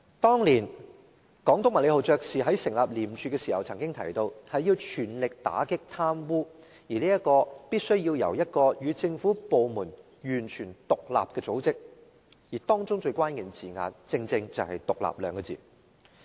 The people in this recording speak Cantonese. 當年總督麥理浩爵士在成立廉署時曾經提到，要全力打擊貪污必須由與政府部門完全獨立的組織負責，而當中最關鍵的字眼正是"獨立"二字。